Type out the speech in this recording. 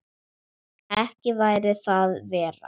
Ekki væri það verra!